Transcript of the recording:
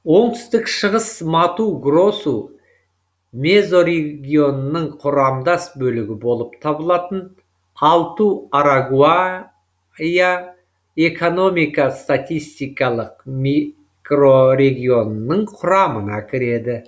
оңтүстік шығыс мату гросу мезорегионының құрамдас бөлігі болып табылатын алту арагуа я экономика статистикалық микро регионының құрамына кіреді